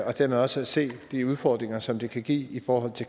og dermed også se de udfordringer som det kan give i forhold